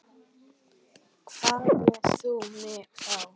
Hvað lést þú mig fá?